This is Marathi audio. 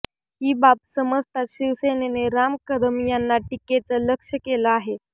ही बाब समजताच शिवसेनेने राम कदम यांना टीकेचं लक्ष्य केलं आहे